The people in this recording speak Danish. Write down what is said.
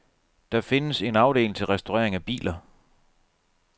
Der findes en afdeling til restaurering af biler.